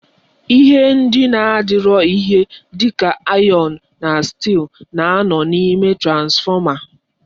Ihe ndị na-adọrọ ihe dịka ayọn na stị́ịl na-anọ n'ime transfọma.